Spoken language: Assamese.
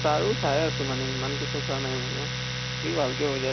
তাৰো চাই আছো মানে, ইমান কে চোৱা নাই মানেও। সি ভাল কে বুজাই ।